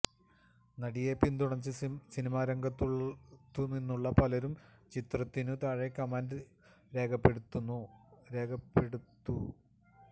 നടിയെ പിന്തുണച്ച് സിനിമാരംഗത്തു നിന്നുള്ള പലരും ചിത്രത്തിനു താഴെ കമന്റ് രേഖപ്പെടുത്തു